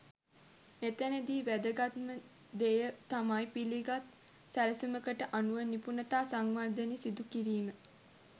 මෙතැනදී වැදගත්ම දෙය තමයි පිළිගත් සැලැස්මකට අනුව නිපුණතා සංවර්ධනය සිදු කිරීම.